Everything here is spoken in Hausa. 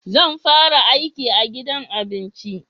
Zan fara yin aiki a gidan abinci